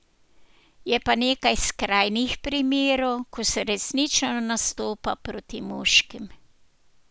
Je pa nekaj skrajnih primerov, ko se resnično nastopa proti moškim.